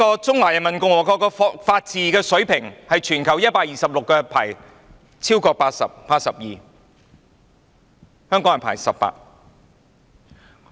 中華人民共和國的法治水平在全球126個國家或地區中排名 82， 香港排名18。